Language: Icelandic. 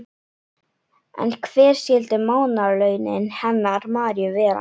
En hver skyldu mánaðarlaunin hennar Maríu vera?